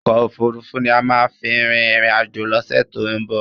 Ọkò òfurufú ni a má à fi rin ìrìn àjò lọ́sẹ̀ tí ó ń bọ̀.